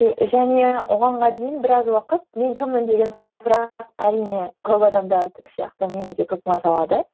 және оғанға дейін біраз уақыт мен кіммін деген сұрақ әрине көп адамдардікі сияқты мені де көп мазалады